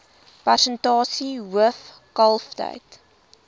persentasie hoof kalftyd